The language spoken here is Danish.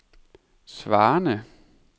svarende